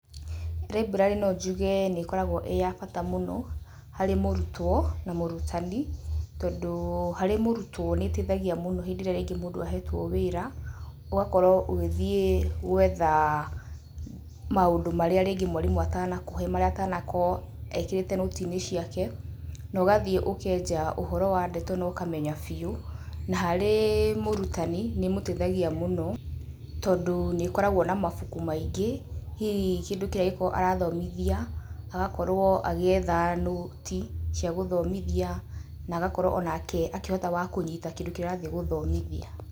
Raiburari nonjuge nikoragwo ii ya fata muno hari murutwo na murutani tondu hari murutwo niiteithagia muno hindi iria ringi mundu ahetwo wira, ugakorwo ugithie gwetha maundu maria ringi mwalimu atanakuhe maria atanakoo ekirite noti-ini ciake, nogathie ukeja uhoro wa ndeto nokamenya fiu, nahari murutani niimuteithagia muno tondu niikoragwo na mabuku maingi , hihi kindu kiria angikorwo arathomithia agakorwo agietha noti cia guthomithia na agakorwo onake akihota wa kunyita kindu kiria arathii guthomothia.